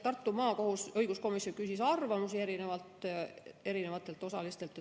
Õiguskomisjon küsis arvamusi erinevatelt osalistelt.